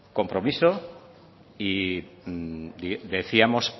compromiso y decíamos